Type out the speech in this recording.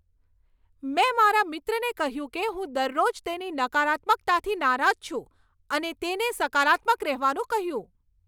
મેં મારા મિત્રને કહ્યું કે હું દરરોજ તેની નકારાત્મકતાથી નારાજ છું અને તેને સકારાત્મક રહેવાનું કહ્યું.